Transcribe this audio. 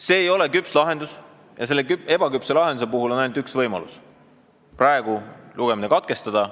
See ei ole küps lahendus ja selle ebaküpse lahenduse puhul on ainult üks võimalus: praegu lugemine katkestada.